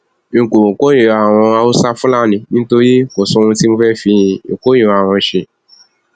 n kò kórìíra àwọn haúsáfúlani nítorí kò sóhun tí mo fẹẹ fi ìkórìíra wọn ṣe